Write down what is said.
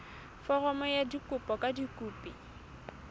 foromo ya kopo ka dikopi